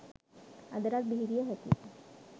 අදටත් බිහිවිය හැකියි.